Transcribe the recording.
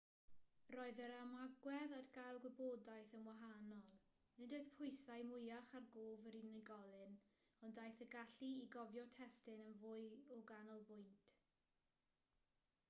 roedd yr ymagwedd at gael gwybodaeth yn wahanol nid oedd pwysau mwyach ar gof yr unigolyn ond daeth y gallu i gofio testun yn fwy o ganolbwynt